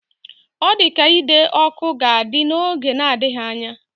Ọ dị ka ide ọkụ ga-ada n'oge na-adịghị anya.